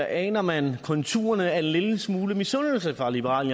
aner man konturerne af en lille smule misundelse fra liberal